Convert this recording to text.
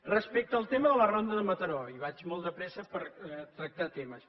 respecte al tema de la ronda de mataró i vaig molt de pressa per tractar temes